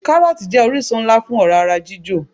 Káròòtì jé orísun nlá fún òrá ara jíjò